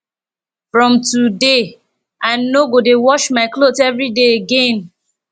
from today i no go dey wash my cloth everyday again